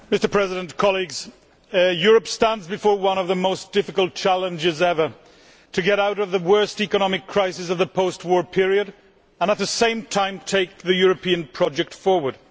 Mr President, Europe stands before one of the most difficult challenges ever to get out of the worst economic crisis of the post war period and at the same time take the European project forward.